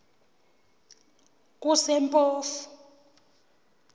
kusempofu